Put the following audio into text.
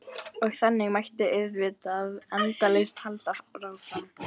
Og þannig mætti auðvitað endalaust halda áfram.